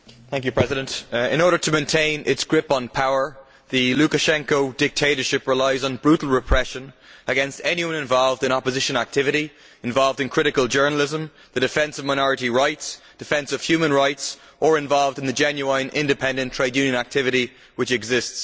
Mr President, in order to maintain its grip on power the Lukashenko dictatorship relies on brutal repression against anyone involved in opposition activity, critical journalism, the defence of minority rights, the defence of human rights or the genuine independent trade union activity which exists.